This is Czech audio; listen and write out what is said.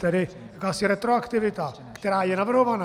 Tedy asi retroaktivita, která je navrhovaná.